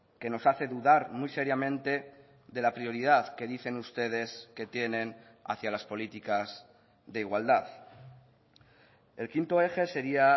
que nos hace dudar muy seriamente de la prioridad que dicen ustedes que tienen hacia las políticas de igualdad el quinto eje sería